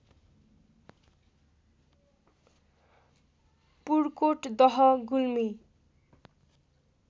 पुर्कोट दह गुल्मी